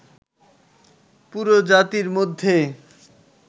পুরো জাতির মধ্যে